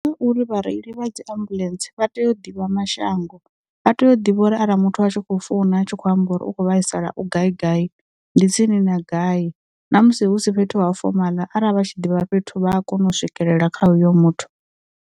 Uri vha reili vha dzi ambuḽentse vha tea u ḓivha mashango, vha tea u ḓivha uri arali muthu a tshi khou founa a tshi kho amba uri ukho vhaisala u gai gai, ndi tsini na gai, ṋamusi husi fhethu ha fomala arali vha tshi ḓivha fhethu, vha a kona u swikelela kha uyo muthu.